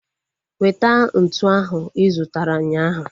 Weta ntụ ahu I zụtara ụnyaahụ